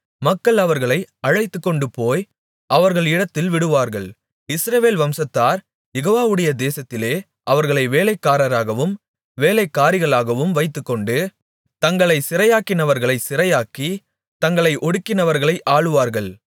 மக்கள் அவர்களை அழைத்துக்கொண்டுபோய் அவர்கள் இடத்தில் விடுவார்கள் இஸ்ரவேல் வம்சத்தார் யெகோவாவுடைய தேசத்திலே அவர்களை வேலைக்காரராகவும் வேலைக்காரிகளாகவும் வைத்துக்கொண்டு தங்களைச் சிறையாக்கினவர்களைச் சிறையாக்கி தங்களை ஒடுக்கினவர்களை ஆளுவார்கள்